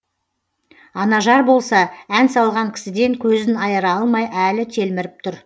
анажар болса ән салған кісіден көзін айыра алмай әлі телміріп тұр